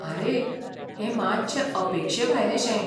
आरे, हें मातशें अपेक्षेभायलें शें.